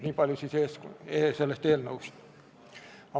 Niipalju sellest eelnõust.